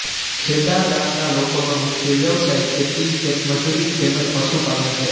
ખેદા ગામના લોકોનો મુખ્ય વ્યવસાય ખેતી ખેતમજૂરી તેમ જ પશુપાલન છે